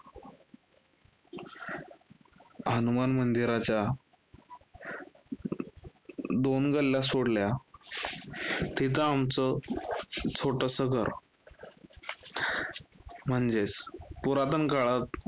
हनुमान मंदिराच्या अं दोन गल्ल्या सोडल्या तिथं आमचं छोटसं घर. म्हणजेस पुरातन काळात